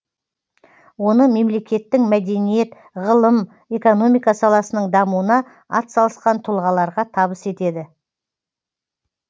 оны мемлекеттің мәдениет ғылым экономика саласының дамуына атсалысқан тұлғаларға табыс етеді